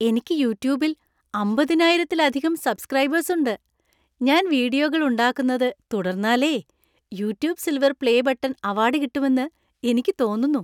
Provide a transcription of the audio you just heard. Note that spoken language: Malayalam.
എനിക്ക് യൂട്യൂബിൽ അമ്പതിനായിരത്തിലധികം സബ്സ്ക്രൈബേഴ്സ് ഉണ്ട് . ഞാൻ വീഡിയോകൾ ഉണ്ടാക്കുന്നത് തുടർന്നാലേ "YouTube silver play button" award കിട്ടുമെന്ന് എനിയ്ക്കു തോന്നുന്നു.